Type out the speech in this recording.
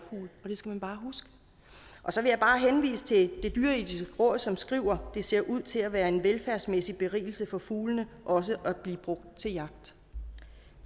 det skal man bare huske så vil jeg bare henvise til det dyreetiske råd som skriver det ser ud til at være en velfærdsmæssig berigelse for fuglene også at blive brugt til